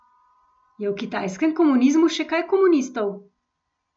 Je v kitajskem komunizmu še kaj komunistov?